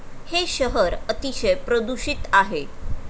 हे शहर अतिशय प्रदूषित आहे.